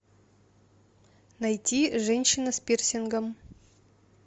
найти женщина с пирсингом